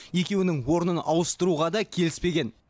екеуінің орнын ауыстыруға да келіспеген